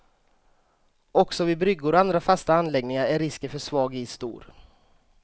Också vid bryggor och andra fasta anläggningar är risken för svag is stor.